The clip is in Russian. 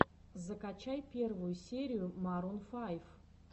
закачай первую серию марун файв